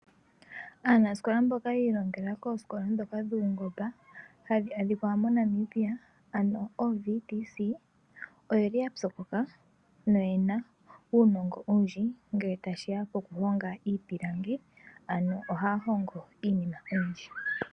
Aanasikola mboka yi ilongela koosikola ndhoka dhungomba hadhi adhika moNamibia ooVTC oyeli ya psokoka noyena uunongo owundji ngele tashiya poku honga iipilangi ano ohaya hongo iinima oyindji.